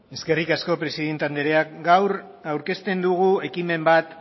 eskerrik asko presidente anderea gaur aurkezten dugu ekimen bat